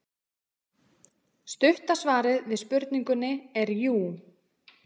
Stutta svarið við spurningunni er jú.